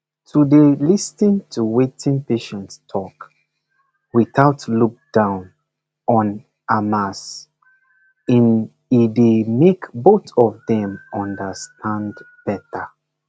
to dey lis ten to wetin patient talk without look down on amas in e dey make both of dem understand better